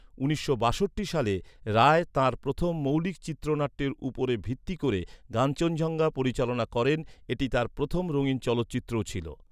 উনিশশো বাষট্টি সালে, রায় তাঁর প্রথম মৌলিক চিত্রনাট্যের উপর ভিত্তি করে কাঞ্চনজঙ্ঘা পরিচালনা করেন, এটি তাঁর প্রথম রঙিন চলচ্চিত্রও ছিল।